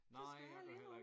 Det skal jeg ærligt indrømme